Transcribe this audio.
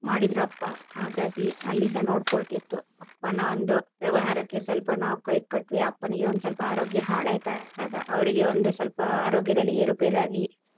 ಮಾಡಿದ್ರು ಅಪ್ಪ ಹಾಗಾಗಿ ಅಲ್ಲಿ ಸಹ ನೋಡ್ಕೊಳ್ಳುತಿತ್ತು ಅಪ್ಪನ ಒಂದು ವ್ಯವಹಾರಕ್ಕೆ ಸ್ವಲ್ಪ ನಾವು ಕೈ ಕೊಟ್ವಿ ಅಪ್ಪನಿಗೆ ಸ್ವಲ್ಪ ಆರೋಗ್ಯ ಹಾಳ್ ಆಯ್ತು ಅವರಿಗೆ ಒಂದು ಸ್ವಲ್ಪ ಆರೋಗ್ಯದಲ್ಲಿ ಏರುಪೇರು ಆಗಿ.